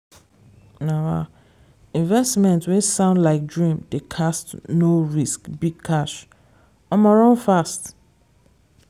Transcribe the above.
um investment wey sound like dream dey cast no risk big cash? omo run fast!